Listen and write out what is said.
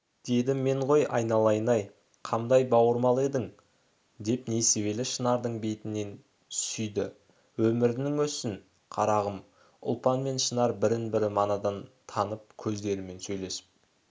деді мен ғой айналайын-ай қамдай бауырмал едің деп несібелі шынардың бетінен сүйді өмірің өссін қарағым ұлпан мен шынар бірін бірі манадан танып көздерімен сөйлесіп